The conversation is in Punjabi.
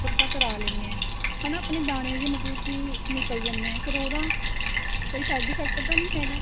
makeup ਤਾਂ ਕਰਾ ਲੈਂਣੇ ਹਾਂ ਹੈਨਾ ਆਪਣੇਂ ਦਾਣੇ ਵੀ ਮਤਲਬ ਕੀ ਨਿੱਕਲ ਜਾਂਦੇ ਏ ਫ਼ੇਰ ਉਹਦੋ ਕੋਈ side effect ਤਾਂ ਨਹੀਂ ਹੈਗਾ